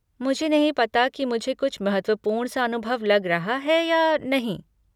मुझे नहीं पता कि मुझे कुछ महत्वपूर्ण सा अनुभव लग रहा है या नहीं।